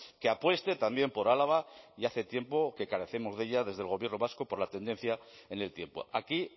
que apueste también por álava y hace tiempo que carecemos de ella desde el gobierno vasco por la tendencia en el tiempo aquí